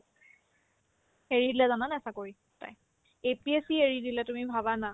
এৰি দিলে জানানে নাই চাকৰি তাই APSC এৰি দিলে তুমি ভাবা না